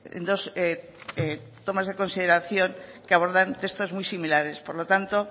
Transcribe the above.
en dos tomas de consideración que abordan textos muy similares por lo tanto